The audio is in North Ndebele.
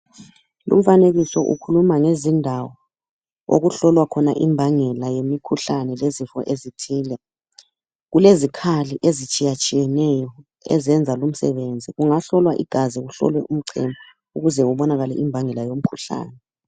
Lumfanekiso ukhuluma ngezindawo okuhlolwa khona imbangela yemikhuhlane lezifo ezithile kulezikhali ezitshiyatshiyeneyo ezenza lumsebenzi kungahlolwa igazi kuhlolwe umchemo ukuze kubakale imbangela yomkhuhlane.